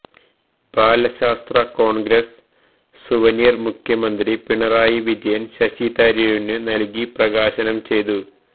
ബാലശാസ്ത്ര congress souvenir മുഖ്യമന്ത്രി പിണറായി വിജയൻ ശശിതരൂരിനു നൽകി പ്രകാശനംചെയ്തു